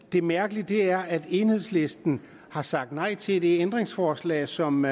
det mærkelige er at enhedslisten har sagt nej til det ændringsforslag som